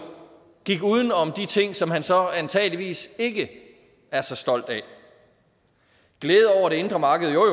gik uden om de ting som han så antageligvis ikke er så stolt af glæde over det indre marked jo